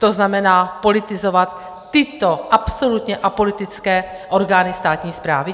To znamená, politizovat tyto absolutně apolitické orgány státní správy?